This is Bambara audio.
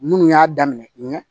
Minnu y'a daminɛ ɲɛ